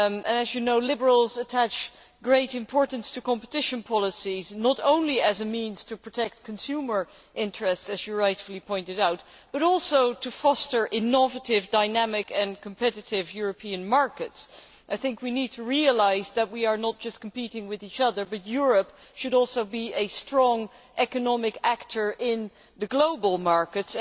As you know, Liberals attach great importance to competition policies, not only as a means of protecting consumer interests as was rightly pointed out but also to foster innovative, dynamic and competitive European markets. We need to realise that we are not just competing with each other, but that Europe should also be a strong economic actor in the global markets.